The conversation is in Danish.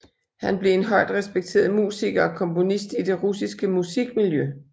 Han blev en højt respekteret musiker og komponist i det russiske musikmiljø